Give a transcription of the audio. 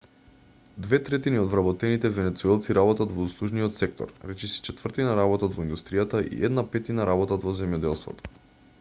две третини од вработените венецуелци работат во услужниот сектор речиси четвртина работат во индустријата и една петтина работат во земјоделството